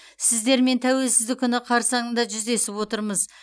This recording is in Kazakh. сіздермен тәуелсіздік күні қарсаңызда жүздесіп отырмыз